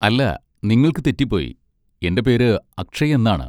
അല്ല, നിങ്ങൾക്ക് തെറ്റിപ്പോയി, എന്റെ പേര് അക്ഷയ് എന്നാണ്.